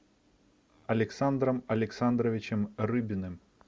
александром александровичем рыбиным